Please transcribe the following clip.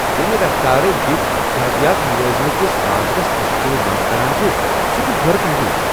ییٚمہ رفتار گیگ اقتصادِیات ملازمت کس بازرس تشکیل نو٘ کران چھُ سُہ چھُ حٲرت انگیز۔